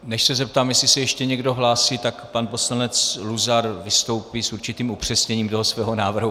Než se zeptám, jestli se ještě někdo hlásí, tak pan poslanec Luzar vystoupí s určitým upřesněním toho svého návrhu.